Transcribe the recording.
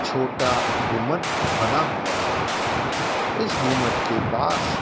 छोटा गुमट बना हुआ है इस गुमट के पास --